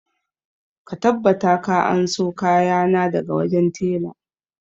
Ka tabbata ka anso kayana daga wajen tela!